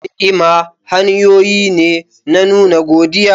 Ni'ima hanyoyi ne na nuna godiya.